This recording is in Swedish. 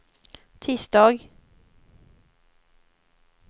tisdag